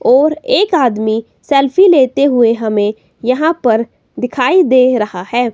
और एक आदमी सेल्फी लेते हुए हमें यहां पर दिखाई दे रहा है।